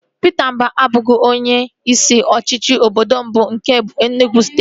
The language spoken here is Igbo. Pita Mba abụghị onye isi ọchịchị obodo mbụ nke Enugwu steeti